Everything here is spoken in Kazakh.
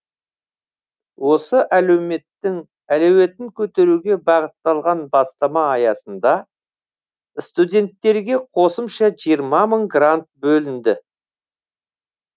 осы әлеуметтің әлеуетін көтеруге бағытталған бастама аясында студенттерге қосымша жиырма мың грант бөлінді